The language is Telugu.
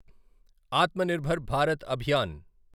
ఆత్మనిర్భర్ భారత్ అభియాన్